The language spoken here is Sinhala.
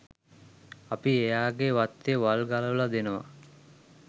අපි එයාගේ වත්තේ වල් ගලවලා දෙනවා